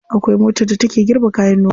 Akwai motar da take girbe kayan noma.